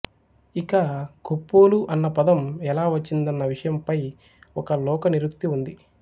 ఇక కొప్పోలు అన్న పదం ఎలా వచ్చిందన్న విషయంపై ఒక లోకనిరుక్తి ఉంది